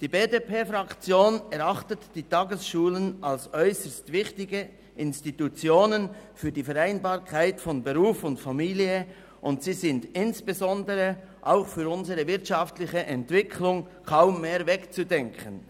Die BDP-Fraktion erachtet die Tagesschulen als äusserst wichtige Institutionen für die Vereinbarkeit von Beruf und Familie, und sie sind insbesondere auch für unsere wirtschaftliche Entwicklung kaum mehr wegzudenken.